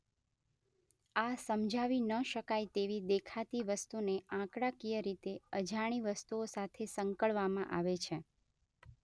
આ સમજાવી ન શકાય તેવી દેખાતી વસ્તુને આંકડાકીય રીતે અજાણી વસ્તુઓ સાથે સંકળવામાં આવે છે.